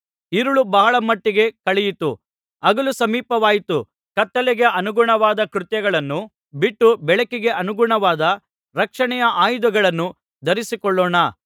ಇರುಳು ಬಹಳ ಮಟ್ಟಿಗೆ ಕಳೆಯಿತು ಹಗಲು ಸಮೀಪವಾಯಿತು ಕತ್ತಲೆಗೆ ಅನುಗುಣವಾದ ಕೃತ್ಯಗಳನ್ನು ಬಿಟ್ಟು ಬೆಳಕಿಗೆ ಅನುಗುಣವಾದ ರಕ್ಷಣೆಯ ಆಯುಧಗಳನ್ನು ಧರಿಸಿಕೊಳ್ಳೋಣ